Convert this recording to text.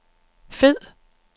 fed